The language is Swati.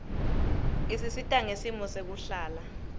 isisita ngesimo sekuhlala